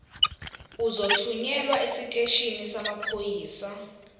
uzothunyelwa esiteshini samaphoyisa